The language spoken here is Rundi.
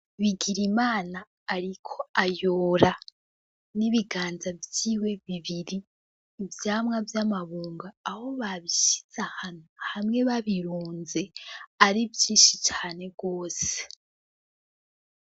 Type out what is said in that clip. Bigirimana ariko ayora n'ibiganza vyiwe bibiri ivyamwa vy'amabungo aho babishize ahantu hamwe babirunze ari vyinshi cane gose.